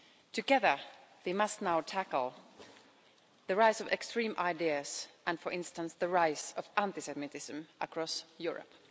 Together, we must now tackle the rise of extreme ideas and, for instance, the rise of anti-Semitism across Europe.